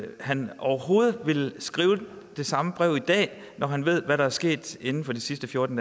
han overhovedet ville skrive det samme brev i dag når han ved hvad der er sket inden for de sidste fjorten